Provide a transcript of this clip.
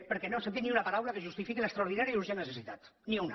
perquè no hem sentit ni una paraula que justifiqui l’extraordinària i urgent necessitat ni una